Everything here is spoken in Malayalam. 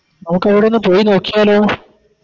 നമുക്കവിടെ ഒന്ന് പോയി നോക്കിയാലോ